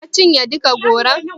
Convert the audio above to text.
Ka cinye duka goron?